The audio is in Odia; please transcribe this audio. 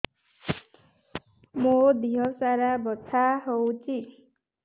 ମୋ ଦିହସାରା ବଥା ହଉଚି